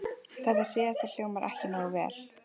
Þetta síðasta hljómar ekki nógu vel.